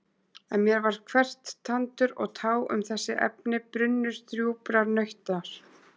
En mér var hvert tandur og tá um þessi efni brunnur djúprar nautnar.